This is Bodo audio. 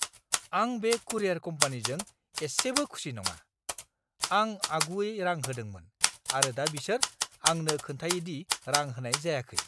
आं बे कुरियार कम्पानीजों एसेबो खुसि नङा। आं आगुयै रां होदोंमोन, आरो दा बिसोर आंनो खिन्थायो दि रां होनाय जायाखै!